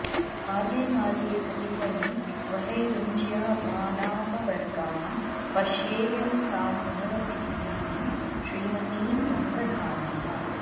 मार्गे मार्गे पथिकनिवहैरुञ्च्यमानापवर्गां पश्येयं तां पुनरपि पुरीं श्रीमतीं रङ्गधाम्नः